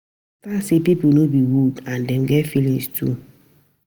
Understand sey pipo no be wood and dem get feelings too